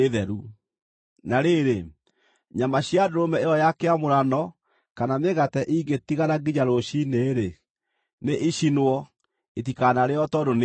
Na rĩrĩ, nyama cia ndũrũme ĩyo ya kĩamũrano kana mĩgate ingĩtigara nginya rũciinĩ-rĩ, nĩicinwo. Itikanarĩĩo tondũ nĩ theru.